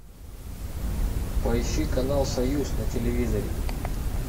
поищи канал союз на телевизоре